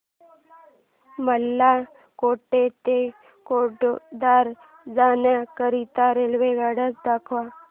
मला कोटा ते वडोदरा जाण्या करीता रेल्वेगाड्या दाखवा